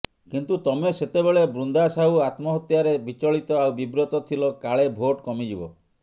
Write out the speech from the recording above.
କିନ୍ତୁ ତମେ ସେତେବେଳେ ବୃନ୍ଦା ସାହୁ ଆତ୍ମହତ୍ୟାରେ ବିଚଳିତ ଆଉ ବିବ୍ରତ ଥିଲ କାଳେ ଭୋଟ କମିଯିବ